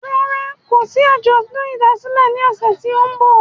Rárá, kòsí àjọ̀dún ìdásílẹ̀ ní ọ̀sẹ̀ tí o n bọ̀